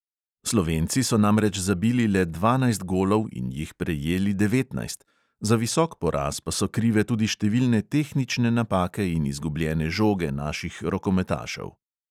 Slovenci so namreč zabili le dvanajst golov in jih prejeli devetnajst, za visok poraz pa so krive tudi številne tehnične napake in izgubljene žoge naših rokometašev.